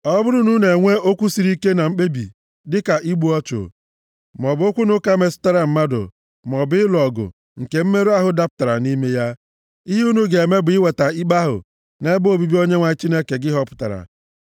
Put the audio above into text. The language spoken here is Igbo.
Ọ bụrụ na unu enwee okwu siri ike na mkpebi, dịka igbu ọchụ, maọbụ okwu na ụka metụtara mmadụ, maọbụ ịlụ ọgụ nke mmerụ ahụ dapụtara nʼime ya, ihe unu ga-eme bụ iweta ikpe ahụ nʼebe obibi Onyenwe anyị Chineke gị họpụtara,